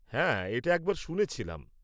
হ্যাঁ, এটা একবার শুনেছিলাম।